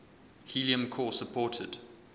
helium core supported